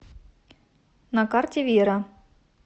на карте вера